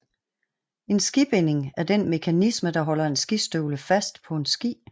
En skibinding er den mekanisme der holder en skistøvle fast på en ski